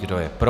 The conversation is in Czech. Kdo je pro?